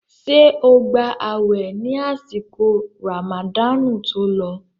Ṣé o gba àwẹ̀ ní àsìkò ràmàdáànù tó lọ?